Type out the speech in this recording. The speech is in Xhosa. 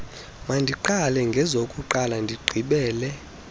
mandiqale ngezokuqala ndigqibele